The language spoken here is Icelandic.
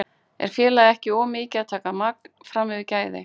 Er félagið ekki of mikið að taka magn fram yfir gæði?